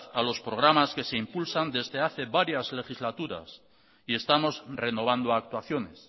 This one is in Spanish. a los programas que se impulsan desde hace varias legislaturas y estamos renovando actuaciones